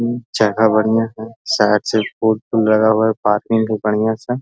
जगह बढ़िया है साइड से बढ़िया सा --